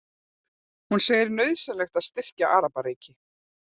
Hún segir nauðsynlegt að styrkja Arabaríki